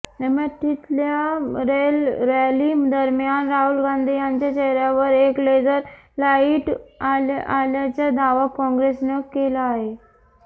अमेठीतल्या रॅलीदरम्यान राहुल गांधी यांच्या चेहऱ्यावर एक लेझर लाईट आल्याचा दावा काँग्रेसनं केला आहे